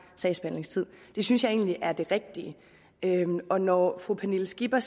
sagsbehandlingstid det synes jeg egentlig er det rigtige og når fru pernille skipper